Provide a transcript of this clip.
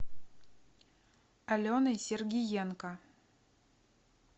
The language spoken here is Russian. аленой сергиенко